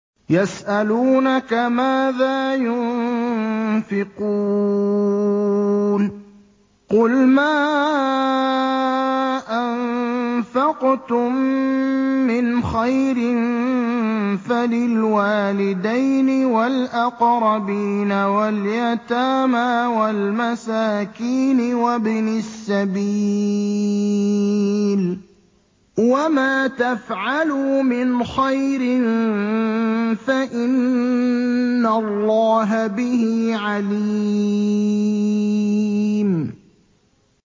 يَسْأَلُونَكَ مَاذَا يُنفِقُونَ ۖ قُلْ مَا أَنفَقْتُم مِّنْ خَيْرٍ فَلِلْوَالِدَيْنِ وَالْأَقْرَبِينَ وَالْيَتَامَىٰ وَالْمَسَاكِينِ وَابْنِ السَّبِيلِ ۗ وَمَا تَفْعَلُوا مِنْ خَيْرٍ فَإِنَّ اللَّهَ بِهِ عَلِيمٌ